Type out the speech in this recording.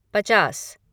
पचास